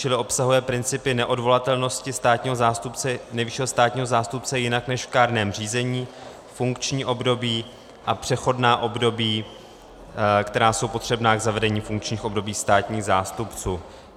Čili obsahuje principy neodvolatelnosti nejvyššího státního zástupce jinak než v kárném řízení, funkční období a přechodná období, která jsou potřebná k zavedení funkčních období státních zástupců.